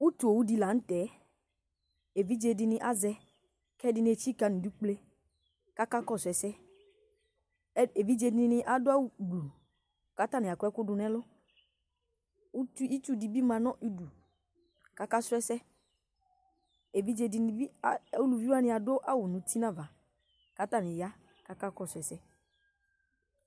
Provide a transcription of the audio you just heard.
Utu owu di laŋtɛ, evidze dini azɛKɛdini etsika nidu kple kakakɔsʋ ɛsɛEvidze dini adʋ awu gblu Katani akɔ ɛkʋ dunɛlʋUti, itsu dini ma nʋ uduKakasuɛsɛEvidze dini bi , uluvi wani adʋ awu uti navaKatani ya kakakɔsʋ ɛsɛ